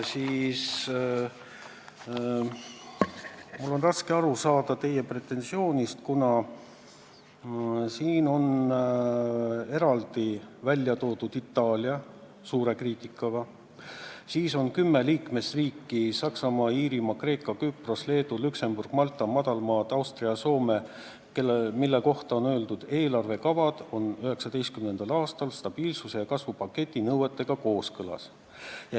Mul on raske aru saada teie pretensioonist, kuna siin on eraldi välja toodud Itaalia, mis saab suurt kriitikat, ja on kümme liikmesriiki – Saksamaa, Iirimaa, Kreeka, Küpros, Leedu, Luksemburg, Malta, Madalmaad, Austria, Soome –, mille kohta on öeldud, et nende eelarvekavad on 2019. aastal stabiilsuse ja kasvu pakti nõuetega kooskõlas.